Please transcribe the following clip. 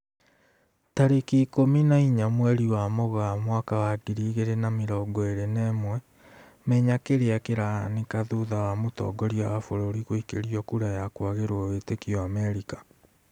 Tarĩki ikũmi na inya mweri wa Mũgaa mwaka wa ngiri igĩri na mĩrongo ĩri na ĩmwe, Menya kĩrĩa kĩrahanĩka thutha wa mũtongoria wa bũrũri guikĩrio kura ya kwagĩrwo wĩtĩkio Amerika